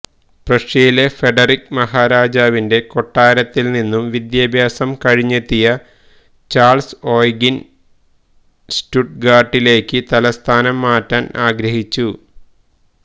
പ്രഷ്യയിലെ Frederick മഹാരാജാവിന്റെ കൊട്ടാരത്തിൽ നിന്നും വിദ്യാഭ്യാസം കഴിഞ്ഞെത്തിയ ചാൾസ് ഓയ്ഗീൻ സ്റ്റുട്ട്ഗാർട്ടിലേക്ക് തലസ്ഥാനം മാറ്റാൻ ആഗ്രഹിച്ചു